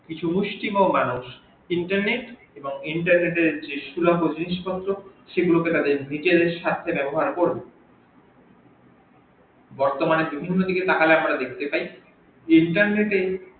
কিছু মানুশ internet এবং internet এর যে সুলভ জিনিস পত্র সেগুলিকে তারা নিজেদের স্বার্থে ব্যাবহার করবে বর্তমানে বিভিন্ন দিকে তাকালে আমরা দেখতে পাই internet এর